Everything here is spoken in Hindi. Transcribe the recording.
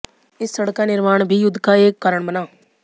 इस सड़क का निर्माण भी युद्ध का एक कारण बना